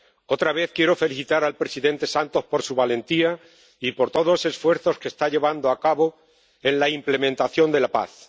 Otra vez quiero felicitar al presidente Santos por su valentía y por todos los esfuerzos que está llevando a cabo en la implementación de la paz.